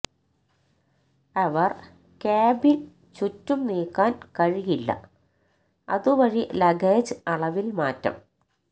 അവർ cabin ചുറ്റും നീക്കാൻ കഴിയില്ല അതുവഴി ലഗേജ് അളവിൽ മാറ്റം